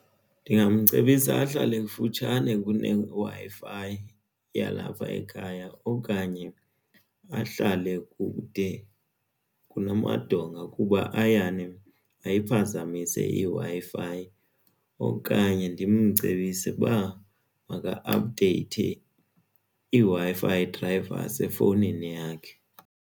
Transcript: Ndingamcebisa ahlale kufutshane kuneWi-Fi yalapha ekhaya okanye ahlale kude kunamadonga kuba ayane ayimphazamise iWi-Fi okanye ndimcebise ukuba maka-aphudeyithe iWi-Fi drayiva yasefowunini yakhe.